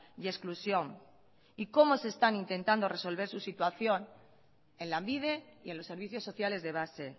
y exclusión y cómo se están intentando resolver su situación en lanbide y en los servicios sociales de base